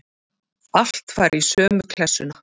Allt fari í sömu klessuna.